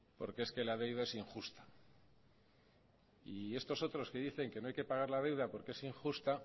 porque es que la deuda es injusta y estos otros que dicen que no hay que pagar la deuda porque es injusta